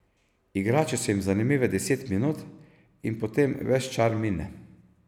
Igrače so jim zanimive deset minut in potem ves čar mine.